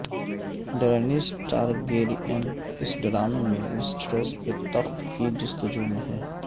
Daenerys Targaryen اس ڈرامے میں ویسٹروس کے تخت کی جستجو میں ہیں